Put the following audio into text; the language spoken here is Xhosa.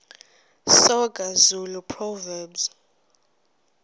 soga zulu proverbs